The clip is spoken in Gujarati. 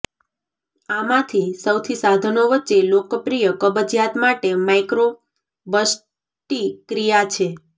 આમાંથી સૌથી સાધનો વચ્ચે લોકપ્રિય કબજિયાત માટે માઇક્રો બસ્તિક્રિયા છે